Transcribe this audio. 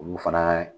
Olu fana